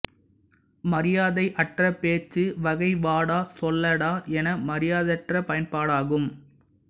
மரியாதை அற்ற பேச்சு வகை வாடா சொல்லடா என மரியாதையற்ற பயன்பாடாகும்